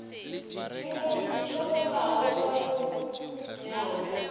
di golago ka go nanya